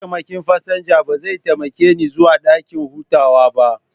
Mataimakin fasinja ba zai taimake ni zuwa dakin hutawa ba.